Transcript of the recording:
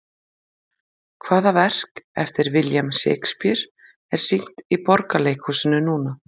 Hvaða verk eftir William Shakespeare er sýnt í Borgarleikhúsinu núna?